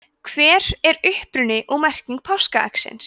hver er uppruni og merking páskaeggsins